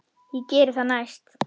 Ég geri það næst.